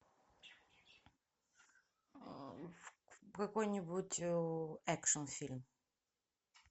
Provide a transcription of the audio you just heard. какой нибудь экшн фильм